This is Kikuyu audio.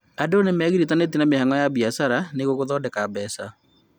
Andũ nĩmegiritithanĩtie na mĩhang'o ya biacara nĩguo gũthondeka mbeca